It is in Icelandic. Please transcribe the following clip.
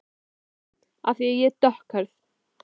SÓLA: Af því ég er dökkhærð.